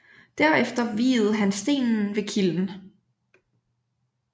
Derefter viede han stenen ved kilden